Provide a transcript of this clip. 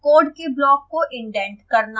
code के block को indent करना